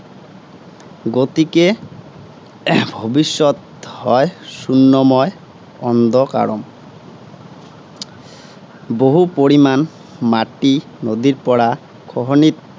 গতিকে এৰ ভৱিষ্যত হয় শুন্যময়, অন্ধকাৰম। বহু পৰিমাণ মাটি নদীৰ পৰা খহনীত